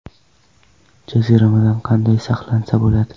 Jaziramadan qanday saqlansa bo‘ladi?.